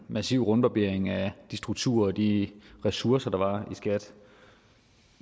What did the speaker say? massiv rundbarbering af de strukturer og de ressourcer der var i skat